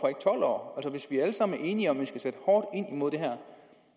og hvorfor hvis vi alle sammen er enige om at vi skal sætte hårdt ind imod det her